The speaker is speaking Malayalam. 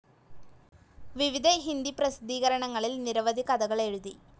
വിവിധ ഹിന്ദി പ്രസിദ്ധീകരണങ്ങളിൽ നിരവധി കഥകൾ എഴുതി.